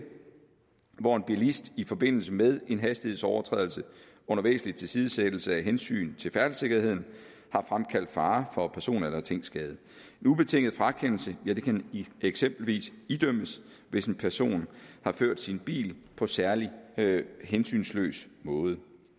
hvor en bilist i forbindelse med en hastighedsovertrædelse under væsentlig tilsidesættelse af hensyn til færdselssikkerheden har fremkaldt fare for person eller tingskade en ubetinget frakendelse kan eksempelvis idømmes hvis en person har ført sin bil på særlig hensynsløs måde